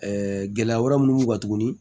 gɛlɛya wɛrɛ munnu b'u kan tuguni